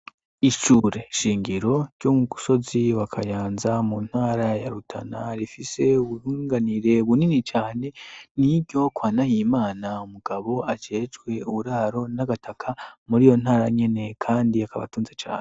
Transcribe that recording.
Ishure shingiro ryo ku musozi wa Kayanza mu ntara ya Rutana, rifise ubunganire bunini cane, n'iryo kwa Nahimana umugabo ajejwe uburaro n'agataka muri iyo ntara nyene, kandi akaba atunze cane.